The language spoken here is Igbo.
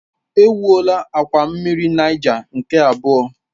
Ewuola akwa mmiri Niger nke abụọ.